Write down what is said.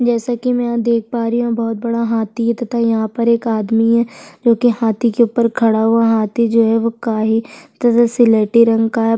जैसे की मै यहाँ देख पा रही हु यहाँ बहुत बड़ा हाथी है तथा यहाँ पर एक आदमी है जो की हाथी के ऊपर खड़ा हुआ है हाथी जो है काई तथा स्लेटी रंग का है।